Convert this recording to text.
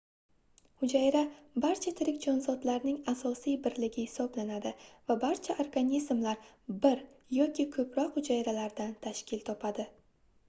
hujayra barcha tirik jonzotlarning asosiy birligi hisoblanadi va barcha organizmlar bir yoki koʻproq hujayralardan tashkil topadi